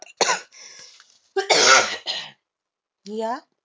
या